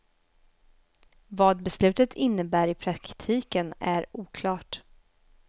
Vad beslutet innebär i praktiken är oklart.